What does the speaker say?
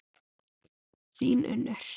Þín, Unnur.